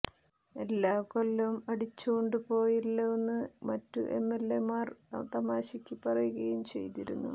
എല്ലാം കൊല്ലം അടിച്ചോണ്ടു പോയല്ലോന്ന് മറ്റു എംഎൽമമാർ തമാശയ്ക്കു പറയുകയും ചെയ്തിരുന്നു